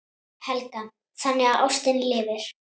Helga: Þannig að ástin lifir?